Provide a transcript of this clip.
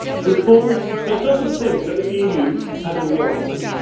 Reform that does not think that the EU has all the answers.